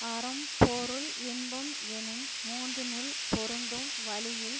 அறம் பொருள் இன்பம் எனும் மூன்றினுள் பொருந்தும் வழியில்